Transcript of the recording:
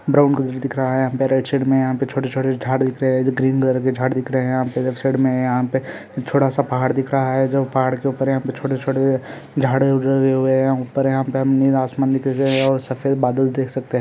Brown colour दिख रहा है यहाँ पे रेड शेड में यहाँ पे छोटे- छोटे झाड़ दिख रहे है ऐसे ग्रीन कलर के झाड़ दिख रहे है यहाँ पे साइड यहा पे छोटा सा पहाड़ दिख रहा है जो पहाड़ के ऊपर यहाँ पे छोटे छोटे झाड़ उगे हुये है और ऊपर यहा पे नीला आसमान दिखाई दे रहा है और सफ़ेद बादल देख सकते।